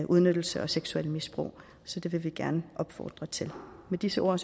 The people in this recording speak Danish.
udnyttelse og seksuelt misbrug så det vil vi gerne opfordre til med disse ord